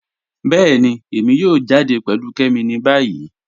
Bẹẹ̀ni, èmi yóò jáde pẹ̀lú Kẹ́mi ni bayí.